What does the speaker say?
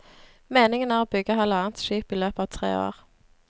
Meningen er å bygge halvannet skip i løpet av tre år.